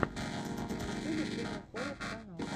на ютюбе первый хоррор канал